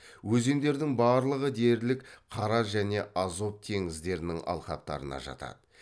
өзендердің барлығы дерлік қара және азов теңіздерінің алқаптарына жатады